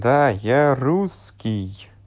да я русский